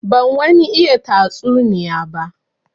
Ban wani iya tatsuniya ba.